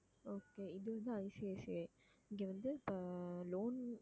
okay இது வந்து ICICI, இங்க வந்து இப்ப loan